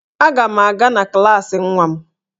Aga m aga na klaasị nwa m